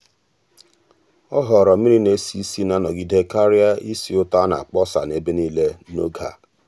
ọ́ họ̀ọ̀rọ̀ mmiri-na-esi ísì na-anogide kàrị́a ísì ụ́tọ́ á nà-ákpọ́sá n’ebe nìile n’ógè a.